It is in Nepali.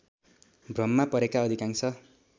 भ्रममा परेका अधिकांश